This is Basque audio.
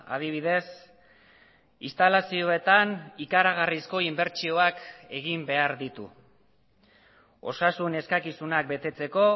adibidez instalazioetan ikaragarrizko inbertsioak egin behar ditu osasun eskakizunak betetzeko